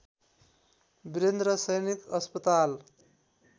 वीरेन्द्र सैनिक अस्पताल